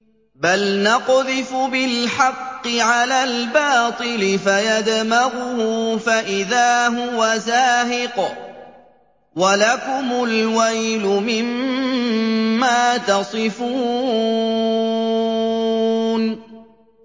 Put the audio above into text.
بَلْ نَقْذِفُ بِالْحَقِّ عَلَى الْبَاطِلِ فَيَدْمَغُهُ فَإِذَا هُوَ زَاهِقٌ ۚ وَلَكُمُ الْوَيْلُ مِمَّا تَصِفُونَ